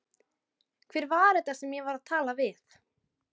Hver var þetta sem ég var að tala við?